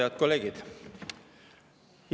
Head kolleegid!